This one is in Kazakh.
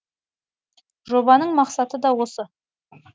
жобаның мақсаты да осы